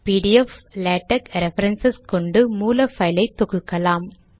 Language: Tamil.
பிடிஎஃப் லேடெக்ஸ் ரெஃபரன்ஸ் கொண்டு மூல பைலை தொகுக்கலாம்